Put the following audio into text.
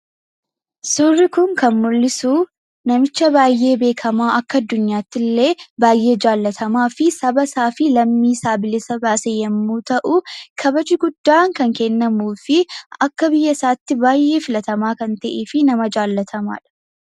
Suurri kun kan mul'isu namicha baayyee beekkamaa, akka addunyaattillee baayyee jaallatamaa fi saba isaaf lammii isaa bilisa baase yommuu ta'u, kabaji guddaan kan kennamuufi akka biyya isaatti baayyee filatamaa kan ta'eefi nama baay'ee jaallatamaa.